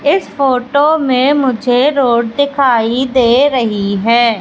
इस फोटो में मुझे रोड दिखाई दे रही है।